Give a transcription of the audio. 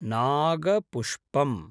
नागपुष्पम्